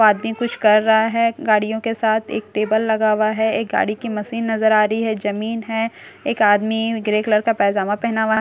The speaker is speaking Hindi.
आदमी कुछ कर रहा है गाड़ियों के साथ एक टेबल लगा हुआ है एक गाड़ी की मशीन नजर आ रही है जमीन है एक आदमी ग्रे कलर का पैजमा पहना हु--